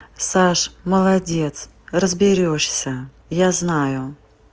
саш молодец разберёшься я знаю